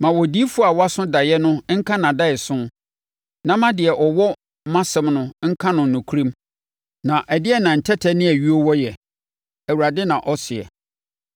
Ma odiyifoɔ a waso daeɛ no nka nʼadaeso, na ma deɛ ɔwɔ mʼasɛm no nka no nokorɛm. Na ɛdeɛn na ntɛtɛ ne ayuo wɔ yɛ?” Awurade na ɔseɛ.